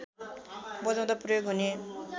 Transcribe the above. बजाउँदा प्रयोग हुने